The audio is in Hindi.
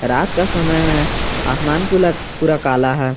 रात का समय है आसमान पूला पूरा कला है।